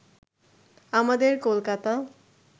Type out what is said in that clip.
আমাদের কলকাতা